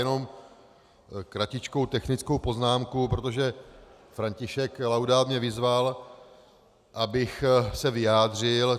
Jenom kratičkou technickou poznámku, protože František Laudát mě vyzval, abych se vyjádřil.